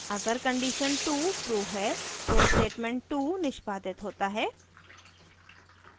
अगर condition 2 true है तो statement 2 निष्पादित होता है